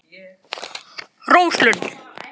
Rósalundi